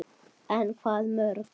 En hvaða mörk?